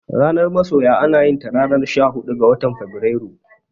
Ranar masoya anayinta ranar shahuɗu ga watan Febrairu.